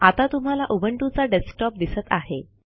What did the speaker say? आता तुम्हाला उबंटूचा डेस्कटॉप दिसत आहे